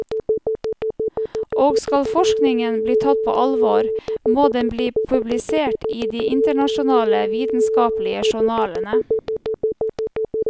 Og skal forskningen bli tatt på alvor, må den bli publisert i de internasjonale vitenskapelige journalene.